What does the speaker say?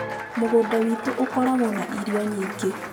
Mũgũnda wĩ tũ ũkoragwo na irio nyingĩ.